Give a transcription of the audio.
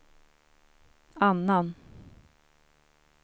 annan